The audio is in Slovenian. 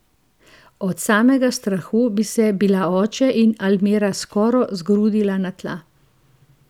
Od samega strahu bi se bila oče in Almira skoro zgrudila na tla.